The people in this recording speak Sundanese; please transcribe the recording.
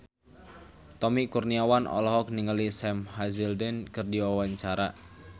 Tommy Kurniawan olohok ningali Sam Hazeldine keur diwawancara